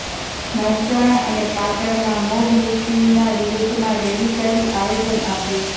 મહેસાણા અને પાટણમાં મોબ લિંચિંગના વિરોધમાં રેલી કાઢી આવેદન આપ્યું